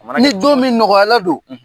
Ni don min nɔgɔyala don